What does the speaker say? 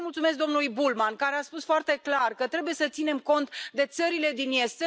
Vreau să i mulțumesc domnului Bullmann, care a spus foarte clar că trebuie să ținem cont de țările din Est.